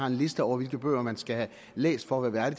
en liste over hvilke bøger man skal have læst for at være